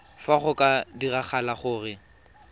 fa go ka diragala gore